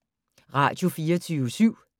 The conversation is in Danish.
Radio24syv